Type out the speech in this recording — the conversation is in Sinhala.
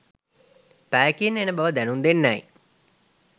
පැයකින් එන බව දැනුම් දෙන්නැයි